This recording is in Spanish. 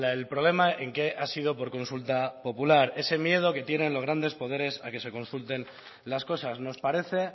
el problema en que ha sido por consulta popular ese miedo que tienen los grandes poderes a que se consulten las cosas nos parece